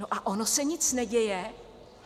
No a ono se nic neděje?